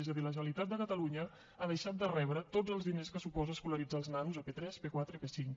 és a dir la generalitat de catalunya ha deixat de rebre tots els diners que suposa escolaritzar els nanos de p3 p4 i p5